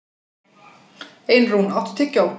Einrún, áttu tyggjó?